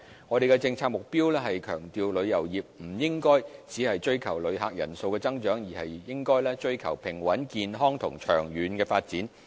我們的政策目標是強調旅遊業不應只追求旅客人數增長，而應追求平穩、健康及長遠的發展。